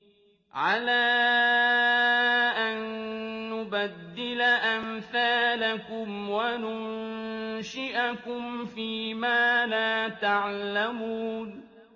عَلَىٰ أَن نُّبَدِّلَ أَمْثَالَكُمْ وَنُنشِئَكُمْ فِي مَا لَا تَعْلَمُونَ